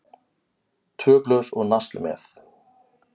Tvö glös og nasl með.